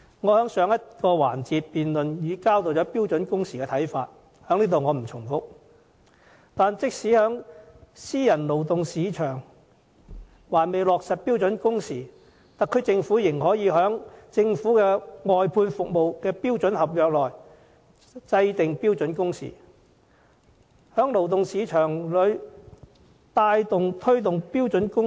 我在上個環節的辯論已交代對標準工時的看法，這裏不再重複，但即使私人勞動市場還未落實標準工時，特區政府仍可在政府外判服務的標準合約內制訂標準工時，在勞動市場裏牽頭推動標準工時。